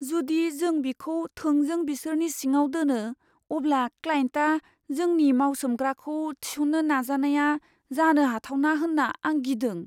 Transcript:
जुदि जों बिखौ थोंजों बिसोरनि सिङाव दोनो, अब्ला क्लायेन्टआ जोंनि मावसोमग्राखौ थिसननो नाजानाया जानो हाथावना होनना आं गिदों।